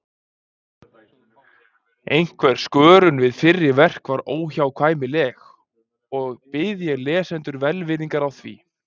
Einhver skörun við fyrri verk var óhjákvæmileg, og bið ég lesendur velvirðingar á því.